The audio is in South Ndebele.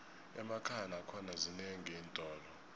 emakhaya nakhona zinenqi iintolo